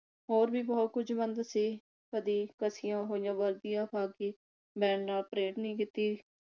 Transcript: ਹੋਰ ਵੀ ਬੰਦ ਕੁਝ ਬੰਦ ਸੀ। ਕਦੀ ਘਸੀਆਂ ਹੋਈਆਂ ਵਰਦੀਆਂ ਮੈਂ ਨਾ ਪਰੇਡ ਨੀ ਕੀਤੀ